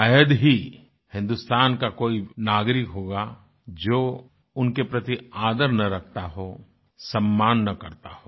शायद ही हिन्दुस्तान का कोई नागरिक होगा जो उनके प्रति आदर ना रखता हो सम्मान ना करता हो